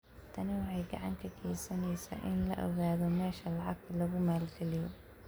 Tani waxay gacan ka geysaneysaa in la ogaado meesha lacagta lagu maalgeliyo.